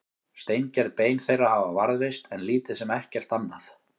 steingerð bein þeirra hafa varðveist en lítið sem ekkert annað